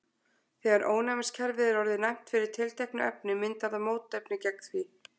Þegar ónæmiskerfið er orðið næmt fyrir tilteknu efni myndar það mótefni gegn því.